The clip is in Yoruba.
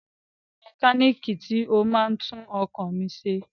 Pelumi ni mẹkálíìkì tí ó máa ń tún ọkọ̀ mi ṣe.